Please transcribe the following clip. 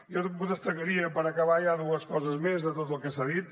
jo destacaria per acabar ja dues coses més de tot el que s’ha dit